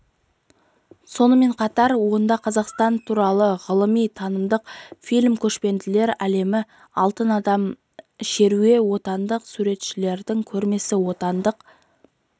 сонымен қатар онда қазақстан туралы ғылыми-танымдық фильм көшпенділер әлемі алтын адам шеруі отандық суретшілердің көрмесі отандық